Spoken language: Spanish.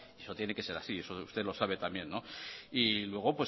eso tiene que ser así eso usted lo sabe también y luego